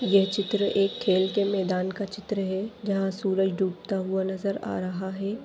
ये चित्र एक खेल के मैदान का चित्र है जहाँ सूरज डूबता हुआ नज़र आ रहा है।